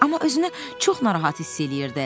Amma özünü çox narahat hiss eləyirdi.